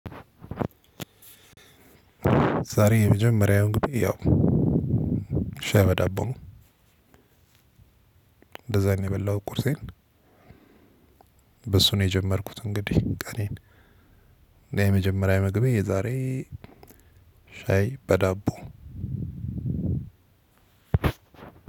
ዛሬ የመጀመሪያውን እንግዲህ ያው ሻይ በዳቦ ነው እንደዛ ነው የበላሁት ቁርሴን። በሱ ነው የጀመርኩት እንግዲህ ቀኔን የመጀመሪያ ምግቤ የዛሬ። ሻይ በዳቦ።